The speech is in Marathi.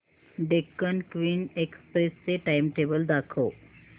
डेक्कन क्वीन एक्सप्रेस चे टाइमटेबल दाखव